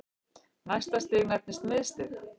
Næsta stig nefnist miðstig.